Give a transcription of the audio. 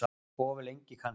Of lengi kannski.